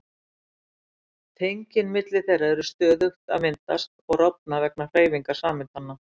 Tengin milli þeirra eru stöðugt að myndast og rofna vegna hreyfingar sameindanna.